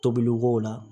Tobili k'o la